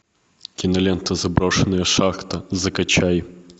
кинолента заброшенная шахта закачай